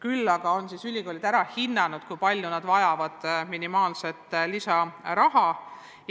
Ülikoolid on aga ära hinnanud, kui palju nad minimaalselt vajavad lisaraha.